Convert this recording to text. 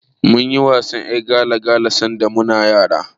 Mun yi wasan ƴar gala-gala sanda muna yara.